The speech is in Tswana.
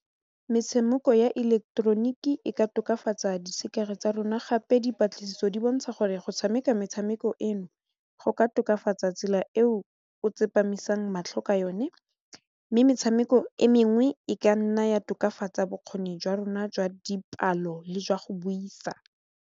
Metshameko ya ileketeroniki e ka tokafatsa tsa rona gape dipatlisiso di bontsha gore go tshameka metshameko eno go ka tokafatsa tsela eo o tsepamisang matlho ka yone mme metshameko e mengwe e ka nna ya tokafatsa bokgoni jwa rona jwa dipalo le jwa go buisa.